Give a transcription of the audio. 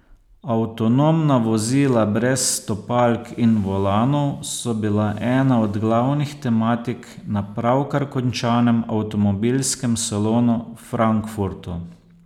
Avtonomna vozila brez stopalk in volanov so bila ena od glavnih tematik na pravkar končanem avtomobilskem salonu v Frankfurtu.